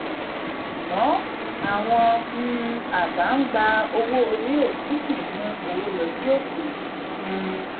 ṣùgbọ́n àwọn um aba ń gba owó orí òfin sì ń mú owó lọ sí òkè. um